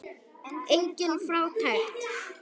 Engin fátækt.